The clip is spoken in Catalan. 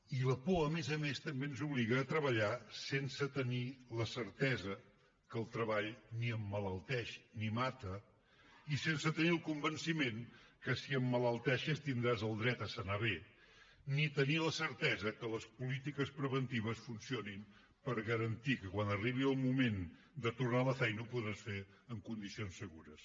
i la por a més a més també ens obliga a treballar sense tenir la certesa que el treball ni emmalalteix ni mata i sense tenir el convenciment que si emmalalteixes tindràs el dret a sanar bé ni tenir la certesa que les polítiques preventives funcionin per garantir que quan arribi el moment de tornar a la feina ho podràs fer en condicions segures